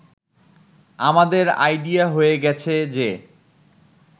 “আমাদের আইডিয়া হয়ে গেছে যে